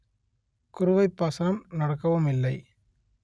குறுவைப் பாசனம் நடக்கவும் இல்லை